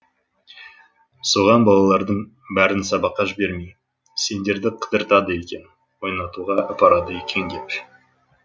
соған балалардың бәрін сабаққа жібермей сендерді қыдыртады екен ойнатуға апарады екен деп